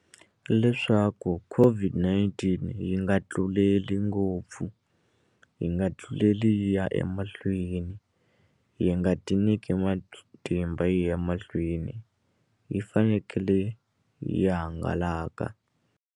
Leswaku COVID-19 yi nga tluleli ngopfu yi nga tluleli yi ya emahlweni yi nga tinyike matimba yi ya mahlweni yi fanekele yi hangalaka.